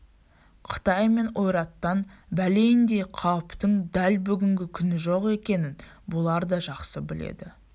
қытай мен ойраттан бәлендей қауіптің дәл бүгінгі күні жоқ екенін бұлар да жақсы біледі